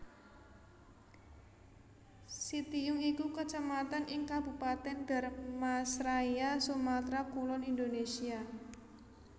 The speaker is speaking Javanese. Sitiung iku Kecamatan ing Kabupatèn Dharmasraya Sumatra Kulon Indonesia